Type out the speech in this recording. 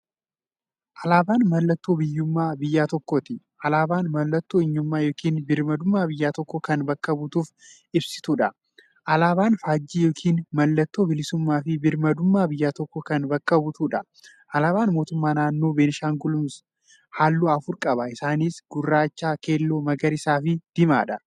Alaaban mallattoo biyyuummaa biyya tokkooti. Alaabaan mallattoo eenyummaa yookiin birmaadummaa biyya tokkoo kan bakka buutuuf ibsituudha. Alaaban faajjii yookiin maallattoo bilisuummaafi birmaadummaa biyya tokkoo kan bakka buutuudha. Alaaban mootummaa naannoo Benishaangul gumuz haalluu afur qaba. Isaanis; gurraacha, keelloo, magariisafi diimaadha.